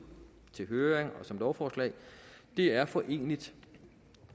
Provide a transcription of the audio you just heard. til høring og som lovforslag er foreneligt